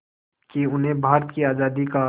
कि उन्हें भारत की आज़ादी का